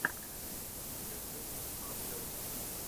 ютюб хадвел